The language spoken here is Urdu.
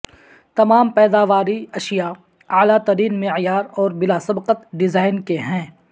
تمام پیداواری اشیاء اعلی ترین معیار اور بلا سبقت ڈیزائن کے ہیں